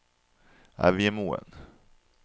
Evjemoen